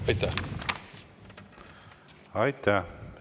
Aitäh!